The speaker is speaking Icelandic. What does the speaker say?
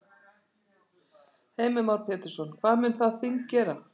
Heimir Már Pétursson: Hvað mun það þing gera?